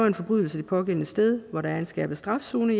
en forbrydelse det pågældende sted hvor der er en skærpet straf zone